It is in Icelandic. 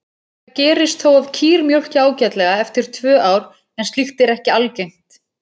Það gerist þó að kýr mjólki ágætlega eftir tvö ár en slíkt er ekki algengt.